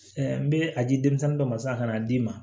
n bɛ a di denmisɛnnin dɔ ma sisan k'a d'i ma